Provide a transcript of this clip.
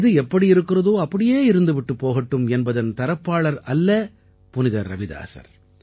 எது எப்படி இருக்கிறதோ அப்படியே இருந்து விட்டுப் போகட்டும் என்பதன் தரப்பாளர் அல்ல புனிதர் ரவிதாஸர்